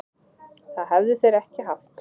Það hefðu þeir ekki haft